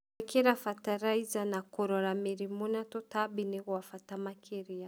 Gwĩkĩra bataraiza na kũrora mĩrimũ na tũtambi nĩ kwa bata makĩria.